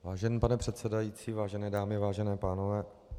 Vážený pane předsedající, vážené dámy, vážení pánové.